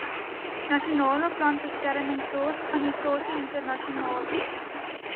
nasionale plantbeskermingsorganisasie internasionale